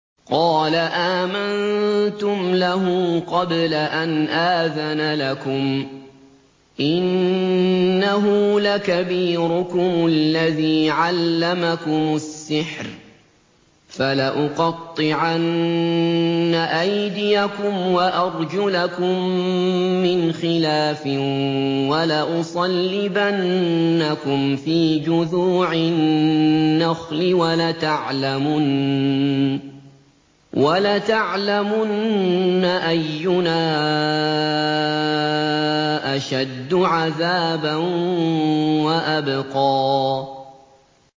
قَالَ آمَنتُمْ لَهُ قَبْلَ أَنْ آذَنَ لَكُمْ ۖ إِنَّهُ لَكَبِيرُكُمُ الَّذِي عَلَّمَكُمُ السِّحْرَ ۖ فَلَأُقَطِّعَنَّ أَيْدِيَكُمْ وَأَرْجُلَكُم مِّنْ خِلَافٍ وَلَأُصَلِّبَنَّكُمْ فِي جُذُوعِ النَّخْلِ وَلَتَعْلَمُنَّ أَيُّنَا أَشَدُّ عَذَابًا وَأَبْقَىٰ